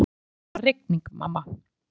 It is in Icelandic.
Já, það var rigning, mamma.